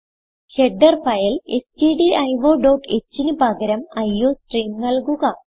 header file stdiohന് പകരം iostream നല്കുക